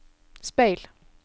speil